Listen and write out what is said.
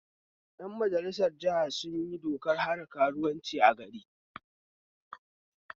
Ƴan majalisar jiha sunyi dokar hana karuwanci a gari